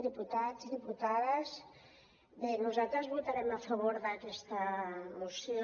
diputats diputades bé nosaltres votarem a favor d’aquesta moció